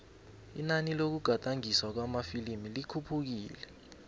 inani lokugadangiswa kwamafilimu likhuphukile